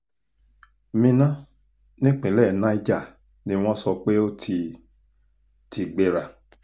àwọn yòókù ni ọ̀làsùnkẹ́mi ọ̀làwùnmí ọgọ́chukwu olùkà àti adéwálé johnson